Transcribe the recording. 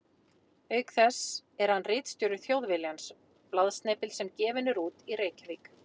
Auk þess er hann ritstjóri Þjóðviljans, blaðsnepils sem gefinn er út í Reykjavík.